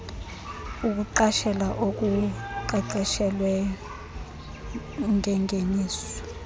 ukuqashela okuqeqeshelweyo ngengeniso